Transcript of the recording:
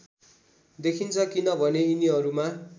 देखिन्छ किनभने यिनीहरूमा